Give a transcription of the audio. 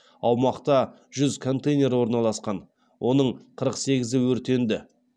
аумақта жүз контейнер орналасқан оның қырық сегізі өртенді